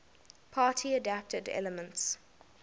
party adapted elements